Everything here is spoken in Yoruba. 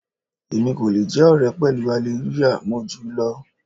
Èmi kò le jẹ́ ọ̀rẹ́ pẹ̀lú Hallelujah, mo júù lọ.